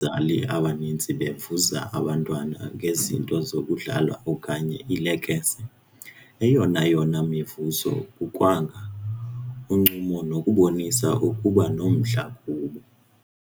zali abaninzi bevuza abantwana ngezinto zokudlala okanye iilekese, eyonayona mivuzo kukwanga, uncumo nokubonisa ukuba nomdla kubo.